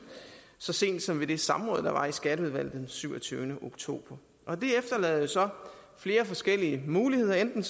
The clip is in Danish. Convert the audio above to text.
så sent som i det samråd der var i skatteudvalget den syvogtyvende oktober det efterlader jo så flere forskellige muligheder enten